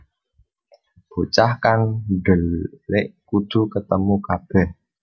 Bocah kang dhelik kudu ketemu kabèh